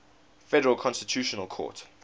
federal constitutional court